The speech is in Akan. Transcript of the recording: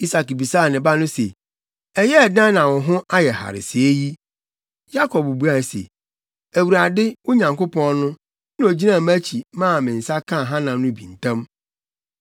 Isak bisaa ne ba no se, “Ɛyɛɛ dɛn na wo ho ayɛ hare sɛɛ yi?” Yakob buae se, “ Awurade, wo Nyankopɔn no, na ogyinaa mʼakyi maa me nsa kaa hanam no bi ntɛm.”